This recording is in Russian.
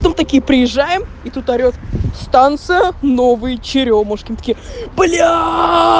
там такие приезжаем и тут орет станция новые черёмушки мы такие бляяя